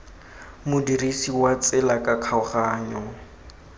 modirisi wa tsela ka kgaoganyo